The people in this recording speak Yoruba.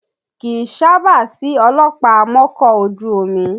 Kì í sábà sí ọlọ́pàá amọ́kọ̀ ojú omi